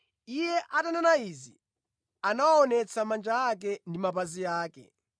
Iye atanena izi anawaonetsa manja ake ndi mapazi ake.